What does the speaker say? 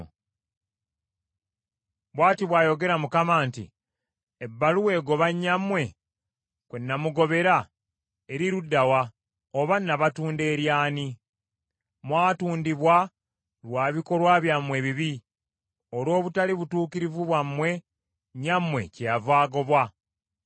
Bw’ati bw’ayogera Mukama nti, “Ebbaluwa egoba nnyammwe, kwe namugobera eri ludda wa? Oba nabatunda eri ani? Mwatundibwa lwa bikolwa byammwe ebibi; olw’obutali butuukirivu bwammwe nnyammwe kyeyava agobwa.